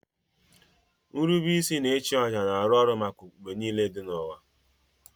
Nrube isi na ịchụ àjà na-arụ ọrụ maka okpukpe niile dị n'ụwa